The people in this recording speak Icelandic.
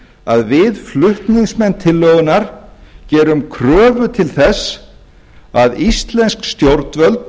að við flutningsmenn tillögunnar gerum kröfu til þess að íslensk stjórnvöld